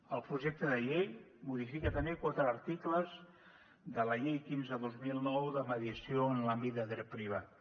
el projecte de llei modifica també quatre articles de la llei quinze dos mil nou de mediació en l’àmbit de dret privat